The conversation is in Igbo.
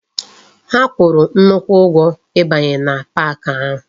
Ha kwuru nnukwu ugwo ibanye na pak ahu